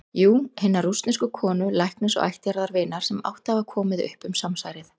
Jú- hinnar rússnesku konu, læknis og ættjarðarvinar, sem átti að hafa komið upp um samsærið.